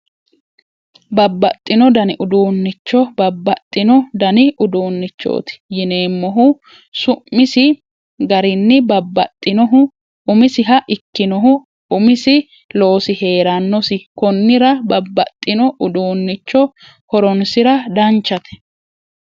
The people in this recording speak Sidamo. Babbaxxino dani uduunnicho babbaxxino dani uduunnichooti yineemmohu su'misi garinni babbaxxinohu umisiha ikkinohu umisi loosi heerannosi konnira babbaxxino uduunnicho horonsira danchate